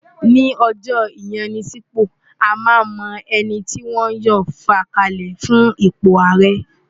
Ní ọjọ́ ìyanisípò, a máa mọ ẹni tí wọn yóò fà kalẹ̀ fún ipò ààrẹ